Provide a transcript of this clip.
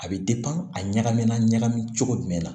A bɛ a ɲagamina ɲagami cogo jumɛn la